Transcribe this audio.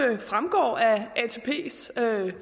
tage